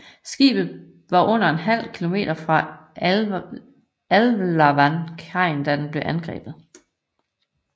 Skibet var under en halv kilometer fra Alava kajen da det blev angrebet